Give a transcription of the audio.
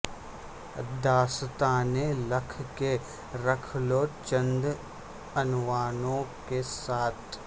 داستانیں لکھ کے رکھ لو چند عنوانوں کے ساتھ